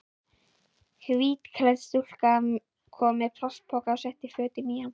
Hvítklædd stúlka kom með plastpoka og setti fötin í hann.